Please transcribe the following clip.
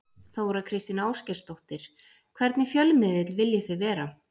Þóra Kristín Ásgeirsdóttir: Hvernig fjölmiðill viljið þið vera?